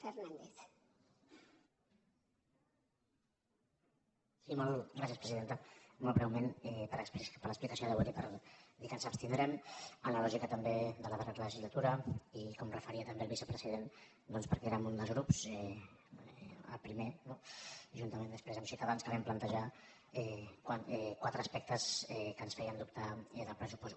sí molt breument per l’explicació de vot i per dir que ens abstindrem en la lògica també de la darrera legislatura i com s’hi referia també el vicepresident doncs perquè érem un dels grups el primer no juntament després amb ciutadans que vam plantejar quatre aspectes que ens feien dubtar en el pressupost